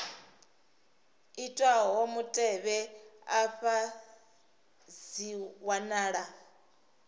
itwaho mutevhe afha dzi wanala